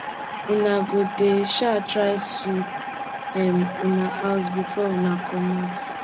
una go dey um try sweep um una house before una comot